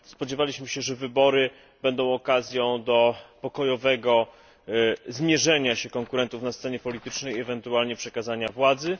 Spodziewaliśmy się, że wybory będą okazją do pokojowego zmierzenia się konkurentów na scenie politycznej i ewentualnie przekazania władzy.